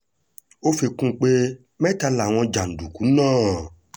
ó fi kún un pé mẹ́ta làwọn jàǹdùkú náà